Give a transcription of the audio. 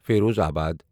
Firozabad